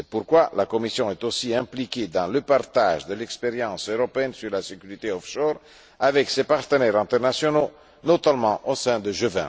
C'est pourquoi la Commission est également impliquée dans le partage de l'expérience européenne sur la sécurité offshore avec ses partenaires internationaux, notamment au sein du